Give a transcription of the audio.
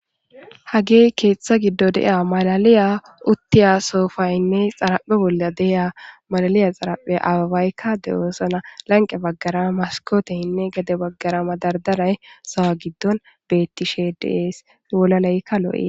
hagey keeththa giddo dea malaliya uttiya soofaynne xaraphe bolla deya malaliya xaraphe ababaykka de7oosana lanqe baggara maskooteyhinne gade baggara madardaray sowa giddon bettishe dees wolaleykka lo7ee